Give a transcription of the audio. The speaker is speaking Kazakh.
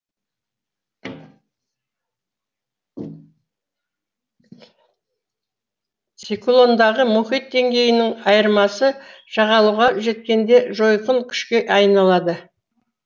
циклондағы мұхит деңгейінің айырмасы жағалауға жеткенде жойқын күшке айналады